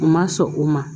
U ma sɔn o ma